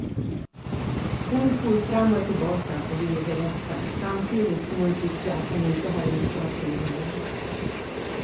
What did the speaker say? Hon for fram och tillbaka och ville berätta, samtidigt som hon tyckte att han inte hade med saken att göra.